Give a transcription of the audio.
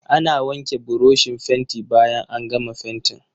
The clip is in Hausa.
Ana wanke burushin fenti bayan an gama fentin.